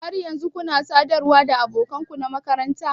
Har yanzu kuna sadarwa da abokan ku na makaranta?